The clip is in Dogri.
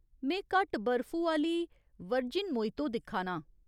में घट्ट बर्फु आह्‌ली वर्जिन मोइतो दिक्खा नां ।